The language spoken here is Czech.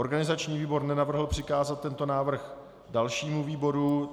Organizační výbor nenavrhl přikázat tento návrh dalšímu výboru.